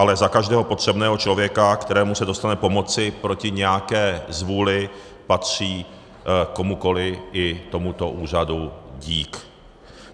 Ale za každého potřebného člověka, kterému se dostane pomoci proti nějaké zvůli, patří komukoli, i tomuto úřadu, dík.